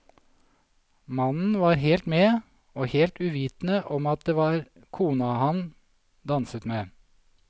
Mannen var helt med, og helt uvitende om at det var kona han danset med.